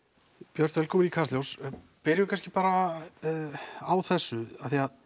björt velkomin í Kastljós byrjum kannski bara á þessu